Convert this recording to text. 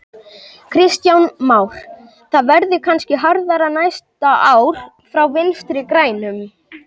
Kristján Már: Það verði kannski harðara næsta ár frá Vinstri grænum?